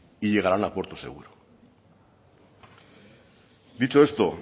y llegarán a puerto seguro dicho esto